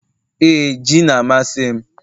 ee, ji na-amasị m